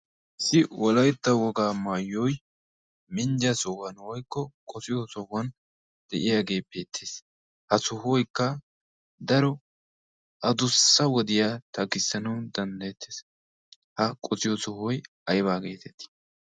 issi wolaytta wogaa maayyoy minjja sohuwan woykko qosiyo sohuwan de'iyaagee peettiis ha sohuwoykka daro adussa wodiyaa taggissanun danddayettees ha qotiyo sohuwoy aybaa geetettii